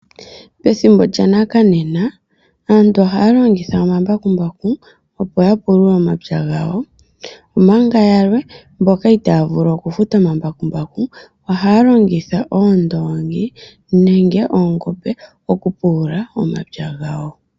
Pethimbo lya nakanena aantu ohaya longitha omambakumbaku opo ya pulule omapya gawo, omanga yalwe mbika itaya vulu okufuta omambakumbaku ohaya longitha oondongi nenge oongombe okupulula omapya gawo.